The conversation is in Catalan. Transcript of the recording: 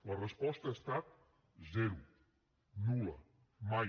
la resposta ha estat zero nul·la mai